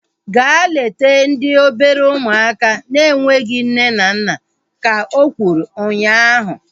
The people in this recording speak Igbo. Gaa leta ndị obere ụmụaka na-enweghị nne na nna! Ka o kwuru ụnyaahụ